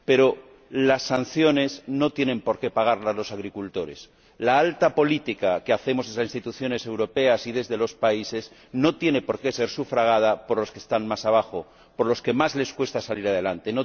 Pero las sanciones no tienen por qué pagarlas los agricultores. La alta política que hacemos desde las instituciones europeas y desde los países no tiene por qué ser sufragada por los que están más abajo, por aquellos a quienes más les cuesta salir adelante.